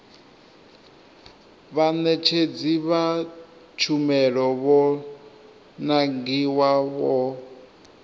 vhaṋetshedzi vha tshumelo vho nangiwaho